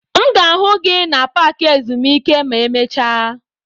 M ga-afụ gị na paaki ezumike ma emecha.